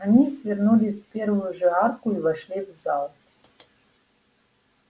они свернули в первую же арку и вошли в зал